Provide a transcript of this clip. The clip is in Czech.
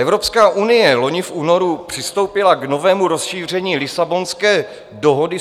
Evropská unie loni v únoru přistoupila k novému rozšíření Lisabonské dohody